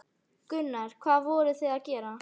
Gunnar: Hvað voruð þið að gera?